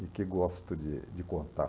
e que gosto de de contar.